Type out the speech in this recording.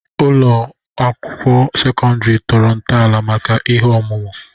Ụlọ ụlọ akwụkwọ sekọndrị tọrọ ntọala maka ihe ọmụma.